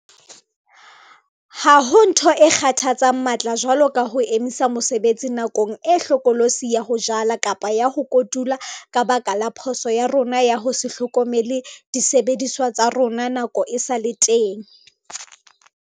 Ha ho ntho e kgathatsang matla jwalo ka ho emisa mosebetsi nakong e hlokolosi ya ho jala kapa ya ho kotula ka baka la phoso ya rona ya ho se hlokomele disebediswa tsa rona nako e sa le teng!